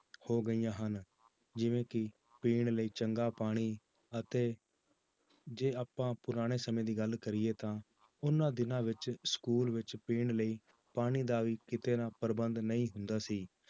ਹੋ ਗਈਆਂ ਹਨ, ਜਿਵੇਂ ਕਿ ਪੀਣ ਲਈ ਚੰਗਾ ਪਾਣੀ ਅਤੇ ਜੇ ਆਪਾਂ ਪੁਰਾਣੇ ਸਮੇਂ ਦੀ ਗੱਲ ਕਰੀਏ ਤਾਂ ਉਹਨਾਂ ਦਿਨਾਂ ਵਿੱਚ school ਵਿੱਚ ਪੀਣ ਲਈ ਪਾਣੀ ਦਾ ਵੀ ਕਿਤੇ ਨਾ ਪ੍ਰਬੰਧ ਨਹੀਂ ਹੁੰਦਾ ਸੀ